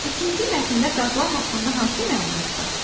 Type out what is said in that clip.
İkinci mətndə qazlar haqqında hansı məlumat var?